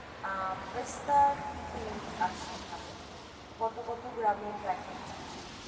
পিস্তার কি কি আছে, কত কত গ্রামের packet আছে?